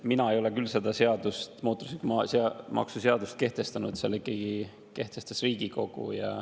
Mina ei ole küll seda automaksuseadust kehtestanud, selle kehtestas ikkagi Riigikogu.